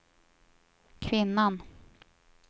kvinnan